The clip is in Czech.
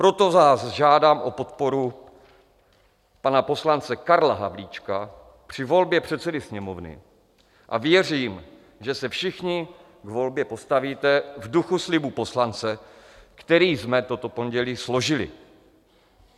Proto vás žádám o podporu pana poslance Karla Havlíčka při volbě předsedy Sněmovny a věřím, že se všichni k volbě postavíte v duchu slibu poslance, který jsme toto pondělí složili.